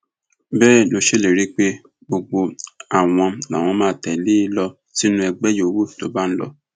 bẹẹ ló ṣèlérí pé gbogbo àwọn làwọn máa tẹlé e lọ sínú ẹgbẹ yòówù tó bá ń lọ